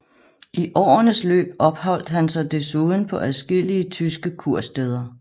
I årenes løb opholdt han sig desuden på adskillige tyske kursteder